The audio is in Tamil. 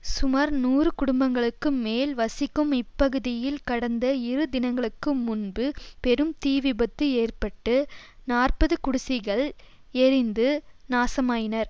சுமார் நூறு குடும்பங்களுக்கு மேல் வசிக்கும் இப்பகுதியில் கடந்த இரு தினங்களுக்கு முன்பு பெரும் தீ விபத்து ஏற்பட்டு நாற்பது குடிசைகள் எரிந்து நாசமாயினர்